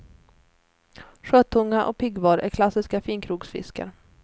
Sjötunga och piggvar är klassiska finkrogsfiskar.